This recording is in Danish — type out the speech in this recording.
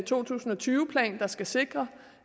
to tusind og tyve plan der skal sikre